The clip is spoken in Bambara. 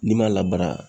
N'i m'a labara